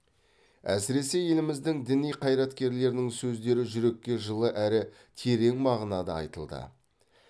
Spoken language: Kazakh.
әсіресе еліміздің діни қайраткерлерінің сөздері жүрекке жылы әрі терең мағынада айтылды